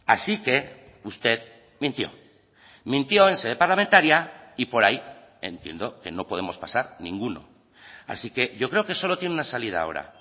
así que usted mintió mintió en sede parlamentaria y por ahí entiendo que no podemos pasar ninguno así que yo creo que solo tiene una salida ahora